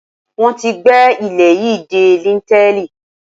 Wọ́n tí gbé ilé yìí dé líńtẹ́ẹ̀lì